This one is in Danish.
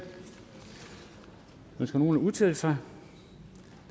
ønsker nogen at udtale sig